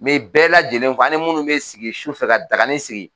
N bɛɛ la lajɛlen fo an ni minnu bɛ sigi sufɛ ka daganin sigi